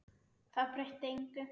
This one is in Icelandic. Það breytti engu.